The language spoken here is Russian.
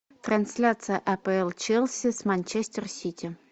трансляция апл челси с манчестер сити